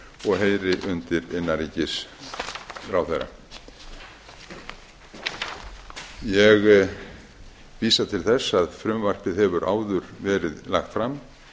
og heyri undir innanríkisráðherra ég vísa til þess að frumvarpið hefur áður verið lagt fram